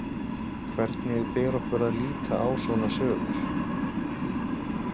Hvernig ber okkur að líta á svona sögur?